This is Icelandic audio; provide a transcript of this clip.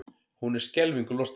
Hún er skelfingu lostin.